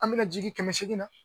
An bɛna jigin kɛmɛ seegin na